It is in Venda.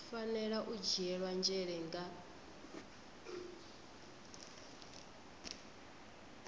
fanela u dzhielwa nzhele nga